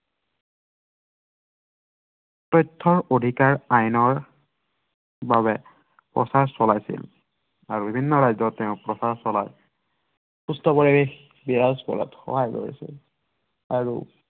তথ্য়ৰ অধিকাৰ আইনৰ বাবে তেওঁ প্ৰচাৰ চলাইছিল। আৰু বিভিন্ন ৰাজ্য়ত তেওঁ প্ৰচাৰ চলাই তথ্য় আইন বিৰাজ কৰাত সহায় কৰিছিল